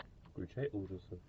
включай ужасы